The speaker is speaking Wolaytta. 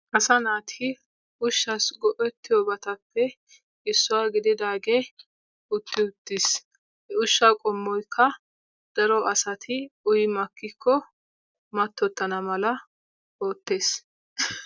Asaa naati ushshaassi go'ettiyobatappe issuwa gididaageeutti uttiis. He ushshaa qommoykka daro asati uyi makkikko mattottana mala oottees.